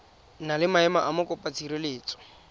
na le maemo a mokopatshireletso